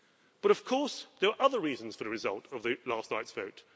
But of course there are other reasons for the results of last night's vote.